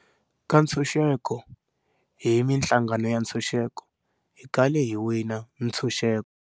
Ka ntshuxeko hi mihlangano ya ntshuxeko, hi kale hi wina ntshuxeko.